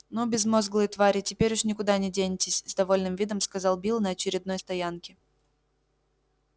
ну безмозглые твари теперь уж никуда не денетесь с довольным видом сказал билл на очередной стоянке